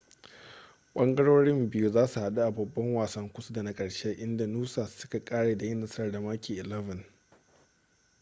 ɓangarorin biyu za su haɗu a babban wasan kusa da na ƙarshe inda noosa suka ƙare da yin nasara da maki 11